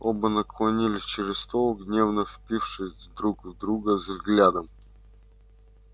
оба наклонились через стол гневно впившись друг в друга взглядом